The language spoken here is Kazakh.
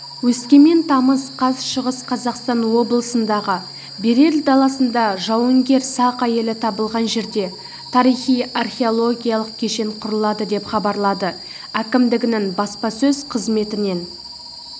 өскемен тамыз қаз шығыс қазақстан облысындағы берел даласында жауынгер-сақ әйелі табылған жерде тарихи-археологиялық кешен құрылады деп хабарлады әкімдігінің баспасөз қызметінен